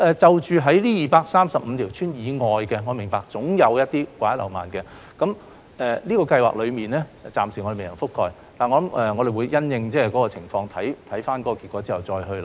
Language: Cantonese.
至於這235條鄉村以外的地方，我明白總有掛一漏萬的情況，有些地方是這項資助計劃暫時未能覆蓋的，我們會因應情況，看看結果之後再作考慮。